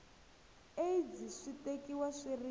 aids swi tekiwa swi ri